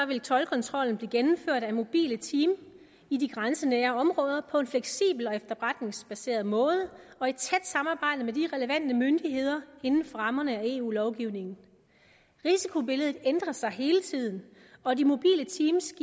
vil toldkontrollen blive gennemført af mobile teams i de grænsenære områder på en fleksibel og efterretningsbaseret måde og de relevante myndigheder inden for rammerne af eu lovgivningen risikobilledet ændrer sig hele tiden og de mobile teams